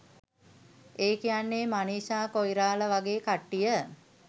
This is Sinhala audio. ඒ කියන්නේ මනිෂා කොයිරාල වගේ කට්ටිය.